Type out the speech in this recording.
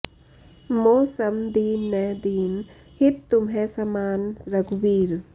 मो सम दीन न दीन हित तुम्ह समान रघुबीर